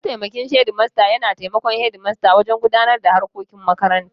Mataimakin shedimasta yana taimakon shedimasta wajen gudanar da harkokin makaranta.